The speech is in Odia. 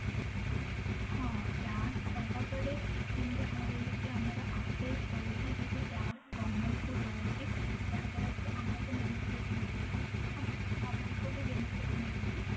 ହଁ tax ଦବା ପରେ ଯେମିତି କି କହିଲି କି ଆମର access ରହୁଛି ଜେ କି tax government କୁ ଦଉଛି ଯାହା ଦ୍ଵାରା କି ଆମକୁ benefit ମିଳୁଛି ଆଉ government କୁ ବି benefit ମିଳୁଛି